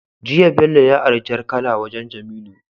Jiya bello ya ari jar kala wajan jamilu